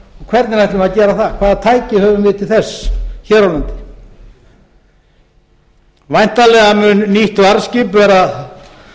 hvernig ætlum við að gera það hvaða tæki höfum við til þess hér á landi væntanlega mun nýtt varðskip verða